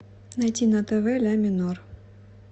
найди на тв ля минор